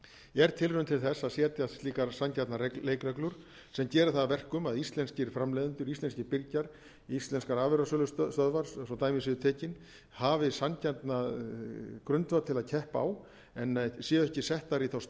er tilraun til þess að setja slíkar sanngjarnar leikreglur sem gera það að verkum að íslenskir framleiðendur íslenskir birgjar íslenskar afurðasölustöðvar svo dæmi séu tekin hafi sanngjarnan grundvöll til að keppa á en séu ekki settar í þá stöðu að